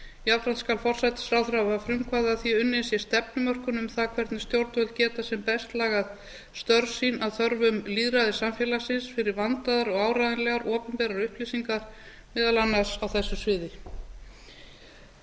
jafnframt skal forsætisráðherra hafa frumkvæði að því að unnin sé stefnumörkun um það hvernig stjórnvöld geta sem best lagað störf sín að þörfum lýðræðissamfélagsins fyrir vandaðar og áreiðanlegar opinberar upplýsingar meðal annars á þessu sviði á